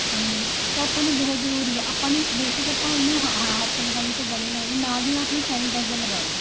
ਲੋਕਾਂ ਨੂੰ ਮਿਲਣਾ ਤਾਂ ਆਪਾਂ ਨੂੰ ਬਹੁਤ ਜਰੂਰੀ ਹੈ ਆਪਾਂ ਨੇ basic ਆਪਾਂ ਨੇ ਉਹਨੂੰ ਹੱਥ ਲਗਾਈਏ ਨਾਲ ਦੀ ਨਾਲ ਆਪਣਾ sanitizer ਲਗਾਲੋ